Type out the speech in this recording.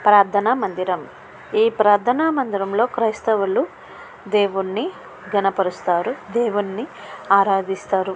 ప్రార్థన మందిరం. ఈ ప్రార్దన మందిరం లో క్రైస్తవులు దేవుణ్ణి గణపరుస్తరు. దేవుని ఆరాధిస్తారు.